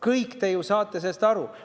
Kõik te saate ju sellest aru.